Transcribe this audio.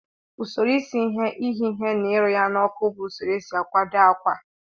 Usoro isi ihe, ighe ihe na irụ ya na oku bu usoro esi akwado akwa.